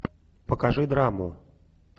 покажи драму